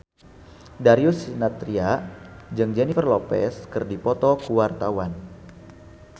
Darius Sinathrya jeung Jennifer Lopez keur dipoto ku wartawan